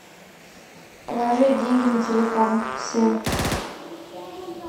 положить деньги на телефон сын